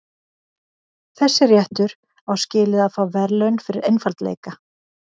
Þessi réttur á skilið að fá verðlaun fyrir einfaldleika.